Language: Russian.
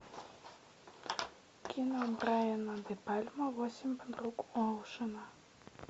кино брайана де пальма восемь подруг оушена